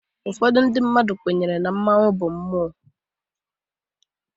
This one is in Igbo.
Ụfọdụ ndị mmadụ kwenyere na mmanwu bụ mmụọ.